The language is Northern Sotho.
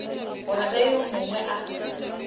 gore ge yo mongwe a